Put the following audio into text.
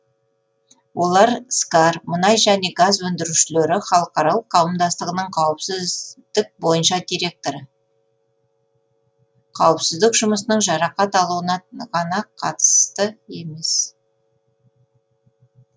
олар скар мұнай және газ өндірушілері халықаралық қауымдастығының қауіпсіз дік бойынша директоры қауіпсіздік жұмысының жарақат алуына ғана қатысты емес